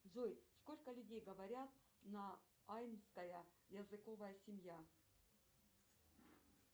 джой сколько людей говорят на айнская языковая семья